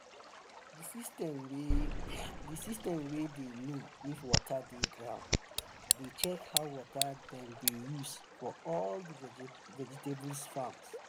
the system way the system way dey know if water dey ground dey check how water dem they use for all the vegetables farm.